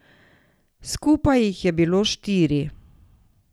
Skupaj jih je bilo štiri.